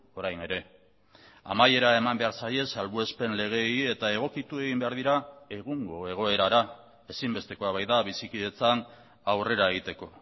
orain ere amaiera eman behar zaie salbuespen legeei eta egokitu egin behar dira egungo egoerara ezinbestekoa baita bizikidetzan aurrera egiteko